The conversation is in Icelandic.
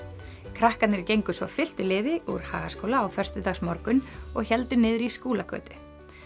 krakkarnir gengu svo fylktu liði úr Hagaskóla á föstudagsmorgunn og héldu niður í Skúlagötu